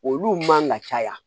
Olu man ka caya